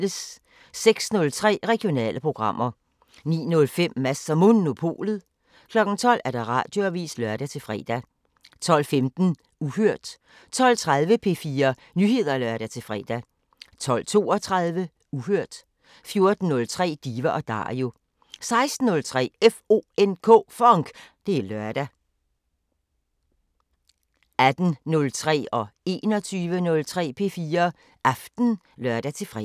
06:03: Regionale programmer 09:05: Mads & Monopolet 12:00: Radioavisen (lør-fre) 12:15: Uhørt 12:30: P4 Nyheder (lør-fre) 12:32: Uhørt 14:03: Diva & Dario 16:03: FONK! Det er lørdag 18:03: P4 Aften (lør-søn) 21:03: P4 Aften (lør-fre)